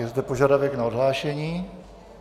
Je zde požadavek na odhlášení.